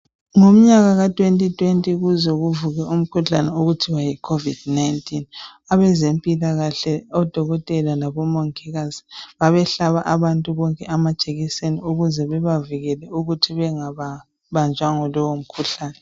ngomnyaka ka 2020 kuze kuvuke umkhuhlane okuthiwayi COVID 19 abezempilakahle odokotela labomongikazi babehlaba abantu bonke amajekiseni ukuze bebavikele ukuthi bengbanjwa yilowo mkhuhlane